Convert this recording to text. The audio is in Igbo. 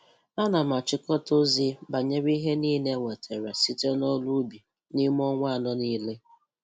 Ana m axhịkọta ozi banyere ihe nile e nwetara site n'ọrụ ubi n'ịme ọnwa anọ nile.